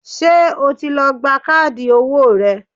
Ṣé o ti lọ gba káàdì owó rẹ?